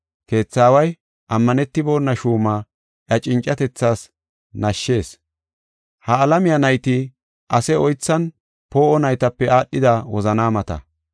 Keetha aaway ammanetibona shuuma iya cincatethaas nashshis. Ha alamiya nayti ase oythan poo7o naytape aadhida wozanaamata.